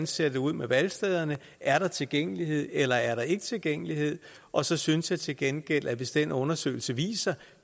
ser ud med valgstederne er der tilgængelighed eller er der ikke tilgængelighed og så synes jeg til gengæld at hvis den undersøgelse viser